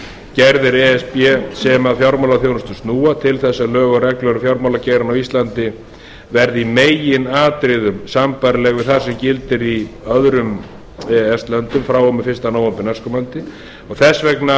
e s b sem að fjármálaþjónustu snúa til þess að lög og reglur um fjármálageirann á íslandi verði í meginatriðum sambærileg við það sem gildir í öðrum e e s löndum frá og með fyrsta nóvember næstkomandi og þess vegna mæli